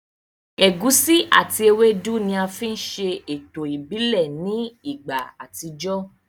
Ẹ̀gusi àti ewédú ni a fi ń ṣe ètò ìbílẹ̀ ní ìgbà àtijọ́